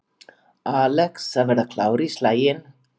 Alex að verða klár í slaginn